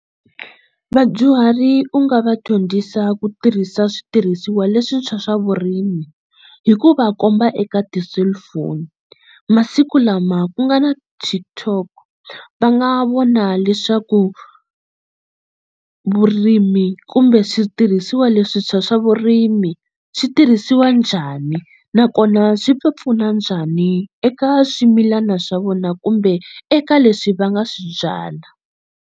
Vadyuhari u nga va dyondzisa ku tirhisa switirhisiwa leswintshwa swa vurimi hi ku va komba eka ti-cellphone masiku lama ku nga na TikTok va nga vona leswaku vurimi kumbe switirhisiwa leswintshwa swa vurimi swi tirhisiwa njhani nakona swi ta pfuna njhani eka swimilana swa vona kumbe eka leswi va nga swi byala.